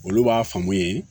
Olu b'a faamu ye